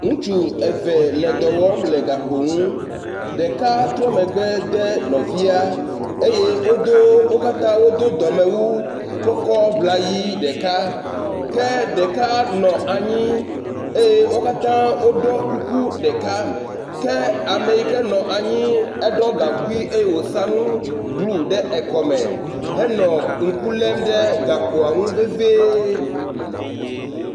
Ŋutsu eve le dɔ wɔm le gakpo nu. Ɖeka tro megbe de nɔvia eye wodo wo katã wodo dɔmewu kɔkɔ ŋlayi ɖeka ke ɖeka nɔ anyi eye wo katã woɖɔ kuku ɖeka ke ame yi ke nɔ anyi eɖɔ gaŋkui eye wòsa nu blɔ ɖe ekɔme henɔ ŋku lém ɖe gakpoa nu veviee.